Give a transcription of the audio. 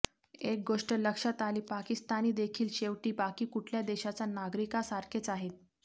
एक गोष्ट लक्षात आली पाकिस्तानीदेखील शेवटी बाकी कुठल्या देशाच्या नागरीकासारखेच आहेत